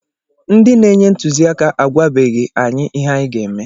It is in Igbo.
Ndị na-enye ntụziaka agwabeghi anyị ihe anyị ga-eme